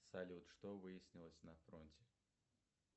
салют что выяснилось на фронте